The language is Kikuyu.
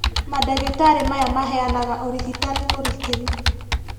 Mandagĩtarĩ maya maheanaga ũrigitani mũrikĩru